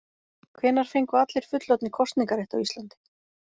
Hvenær fengu allir fullorðnir kosningarétt á Íslandi?